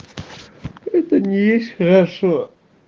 это не есть хорошо